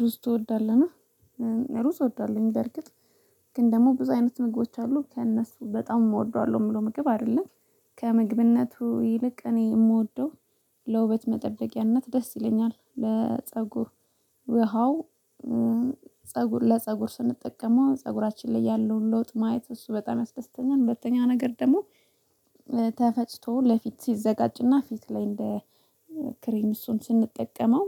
ሩዝ ትወዳለን? ሩዝ እወዳለሁኝ በርግጥ። ግን ደግሞ ብዙ አይነት ምግቦች አሉ ከእነሱ በጣም እወደዋለሁ የምለው ምግብ አይደለም ከምግብነቱ ይልቅ እኔ የምወደው ለውበት መጠበቂያነት ደስ ይለኛል ለፀጉር ውሃው ፀጉር ለፀጉር ስንጠቀመው ፀጉራችን ላይ ያለውን ለውጥ ማየት እሱ በጣም ያስደስተኛል። ሁለተኛ ነገር ደግሞ ተፈጭቶ ለፊት ሲዘጋጅና ፊት ላይ እንደ ክሬም እሱን ስንጠቀመው